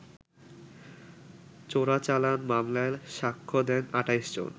চোরাচালান মামলায় সাক্ষ্য দেন ২৮ জন